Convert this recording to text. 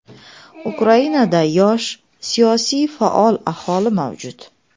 Ukrainada yosh, siyosiy faol aholi mavjud.